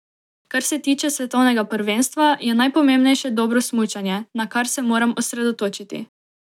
Kar se tiče svetovnega prvenstva, je najpomembnejše dobro smučanje, na kar se moram osredotočiti.